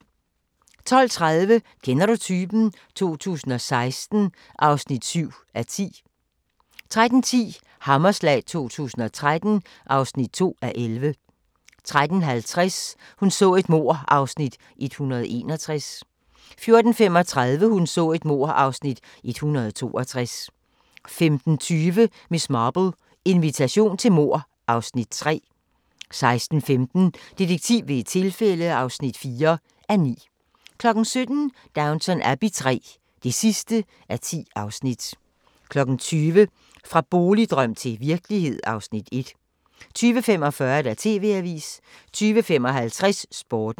12:30: Kender du typen? 2016 (7:10) 13:10: Hammerslag 2013 (2:11) 13:50: Hun så et mord (Afs. 161) 14:35: Hun så et mord (Afs. 162) 15:20: Miss Marple: Invitation til mord (Afs. 3) 16:15: Detektiv ved et tilfælde (4:9) 17:00: Downton Abbey III (10:10) 20:00: Fra boligdrøm til virkelighed (Afs. 1) 20:45: TV-avisen 20:55: Sporten